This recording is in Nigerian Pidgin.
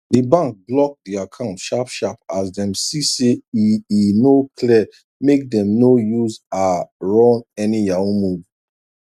d bank block d account sharp sharp as dem see say e e no clear make dem no use aa run any yahoo move